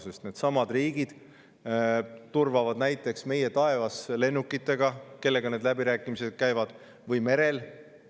Sest needsamad riigid, kellega need läbirääkimised käivad, turvavad näiteks meie taevas lennukitega või merel.